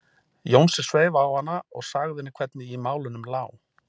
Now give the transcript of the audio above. Jónsi sveif á hana og sagði henni hvernig í málunum lá.